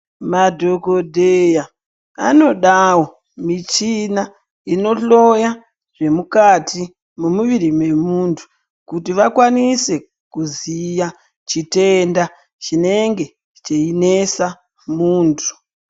Madhogodheya anodavo michina inohloya zvemukati memuviri memuntu. Kuti vakwanise kuzviya chitenda chinenge cheinesa muntu.